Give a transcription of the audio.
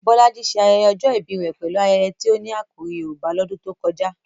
Bolaji ṣe ayẹyẹ ọjọ́ ìbí rẹ̀ pẹ̀lú ayẹyẹ tí ó ní àkòrí Yorùbá lọ́dún tó kọjá.